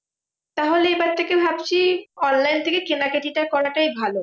তাহলে এবার থেকে ভাবছি online থেকে কেনাকাটি টা করাটাই ভালো।